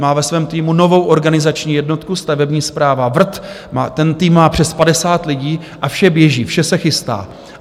Má ve svém týmu novou organizační jednotku Stavební správa VRT, ten tým má přes 50 lidí a vše běží, vše se chystá.